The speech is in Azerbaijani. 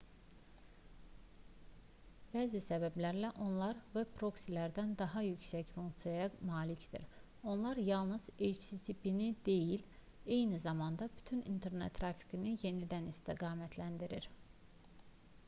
bəzi səbəblərlə onlar veb proksilərdən daha yüksək funksiyaya malikdir: onlar yalnız http-ni deyil eyni zamanda bütün i̇nternet trafikini yenidən istiqamətləndirir